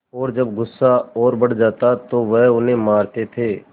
और जब गुस्सा और बढ़ जाता तो वह उन्हें मारते थे